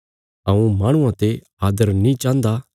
हऊँ माहणुआं ते आदर नीं चाहन्दा